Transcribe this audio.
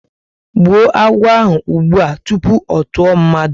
Gbuo agwọ ahụ ụgbụa tupu ọ tụọ mmadụ!